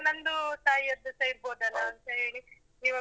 ನಂದೂ ತಾಯದ್ದೂಸ ಇರ್ಬೋದಲ್ಲ ಅಂತ ಹೇಳಿ, ಇವಾಗ್.